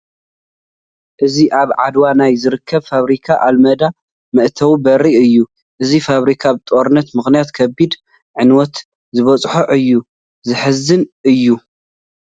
እዚ ኣብ ዓድዋ ናይ ዝርከብ ፋብሪካ ኣልመዳ መእተዊ በሪ እዩ፡፡ እዚ ፋብሪካ ብጦርነት ምኽንያት ከቢድ ዕንወት ዝበፅሖ እዩ፡፡ ዘሕዝን እዩ፡፡